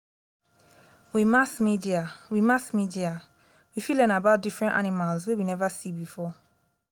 with mass media with mass media we fit learn about different animals wey we never see before